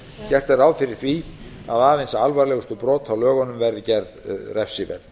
gert er ráð fyrir því að aðeins alvarlegustu brot á lögunum verði gerð refsiverð